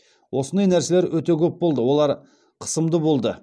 осындай нәрселер өте көп болды олар қысымды болды